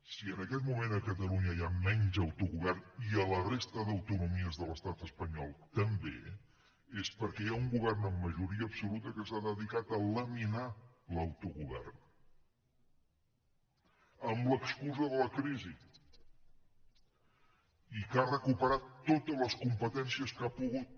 si en aquest moment a catalunya hi ha menys autogovern i a la resta d’autonomies de l’estat espanyol també és perquè hi ha un govern amb majoria absoluta que s’ha dedicat a laminar l’autogovern amb l’excusa de la crisi i que ha recuperat totes les competències que ha pogut